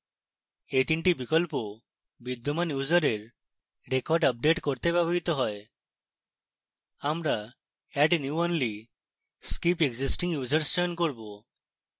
we 3 the বিকল্প বিদ্যমান ইউসারের records আপডেট করতে ব্যবহৃত হয় আমরা add new only skip existing users চয়ন করব